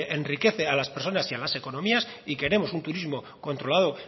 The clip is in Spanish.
enriquece a las personas y las economías y queremos un turismo controlado